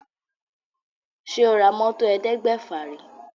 Ṣé o ra mọ́tò ẹ̀ẹ́dẹ́gbèfà rí?